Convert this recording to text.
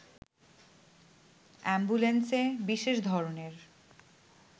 অ্যাম্বুলেন্সে বিশেষ ধরনের